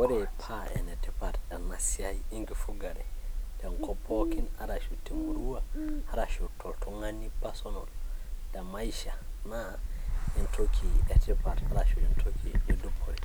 Ore paa enetipat ena siai enkifugare tenkop pookin arashu te murima, arashu toltung'ani personal te maisha naa entoki e tipat arashu entoki e dupore.